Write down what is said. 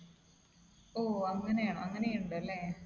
ഓഹോ അങ്ങനെയാണോ? അങ്ങനെയുണ്ടല്ലേ?